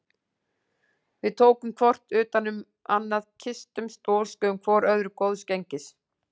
Við tókum hvor utan um annan, kysstumst og óskuðum hvor öðrum góðs gengis.